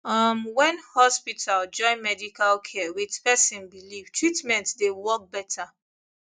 uhm when hospital join medical care with person believe treatment dey work better